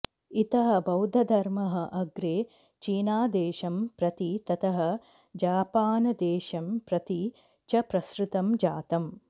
इतः बौद्धधर्मः अग्रे चीनादेशं प्रति ततः जापानदेशं प्रति च प्रसृतं जातम्